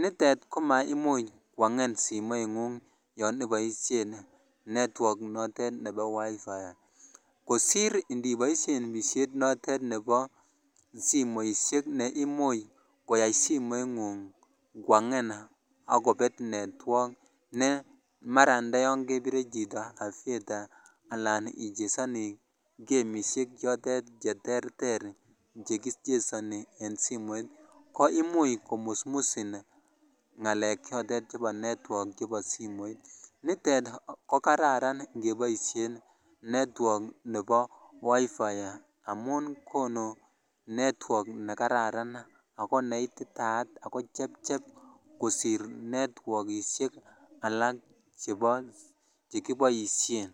nitet ko maimuny koang'en simoing'ung yoiboisien [cs[network notet nebo wifi kosir iniboisien pishet notet nebo simoishiek neimuch koyai simoing'ung kwang'en ak kobet network ne mara ndayan kebire chito aviator alan ichesoni kemisiek chotet cheterter chekichesoni en simoit ko imuch komusmusin ngalek chotet chebo network chebo simoit, nitet ko kararan ng'eboisien network nebo wifi amun konu network nekararan ako neititaat ako chepchep kosir netwogisiek alak chebo chekiboisien.